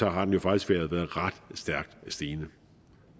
har været ret stærkt stigende